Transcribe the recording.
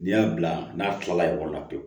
N'i y'a bila n'a kilala ɲɔgɔn la pewu